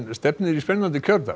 stefnir í spennandi kjördag